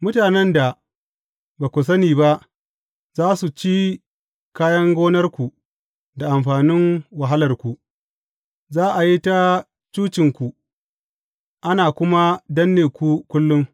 Mutanen da ba ku sani ba za su ci kayan gonarku da amfanin wahalarku, za a yi ta cucinku, ana kuma danne ku kullum.